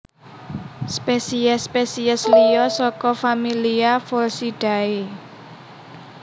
Spesies spesies liya saka familia Pholcidae